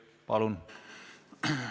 Palun!